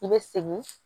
I bɛ segin